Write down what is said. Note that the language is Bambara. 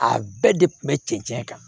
A bɛɛ de kun bɛ cɛncɛn kan